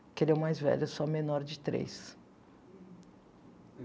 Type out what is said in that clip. Porque ele é o mais velho, eu sou a menor de três.